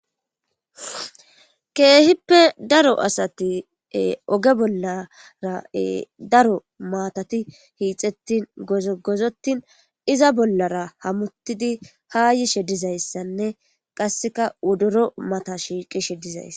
keehippe daro asati oge bollara daro maatati hiixettin gozigozotin iza bollara hamutidi ha yishe dizayssanne qasseka wodoro mata shiiqishe dizays